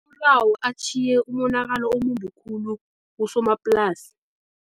atjhiye umonakalo omumbi khulu kusomaplasi.